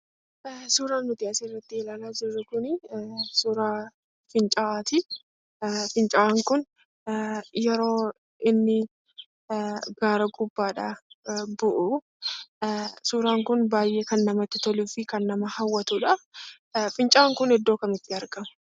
Suuraan nuti asirratti ilaalaa jirru kun suuraa fincaa'aa ti. Fincaa'aan kun yeroo inni gaara gubbaadhaa bu'u suuraan kun baay'ee kan namatti toluufi kan nama hawwatuudha. Fincaa'aan kun iddoo kamitti argama?